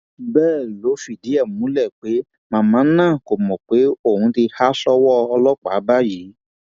bẹẹ ló fìdí ẹ múlẹ pé màmá náà kò mọ pé òun ti há sọwọ ọlọpàá báyìí